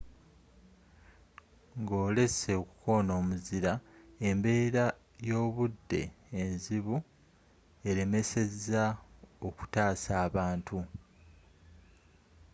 ng'olesse okukona omuzira embbera y'obudde enzibu elemesezza okutasa abantu